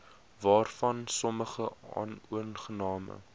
waarvan sommige onaangename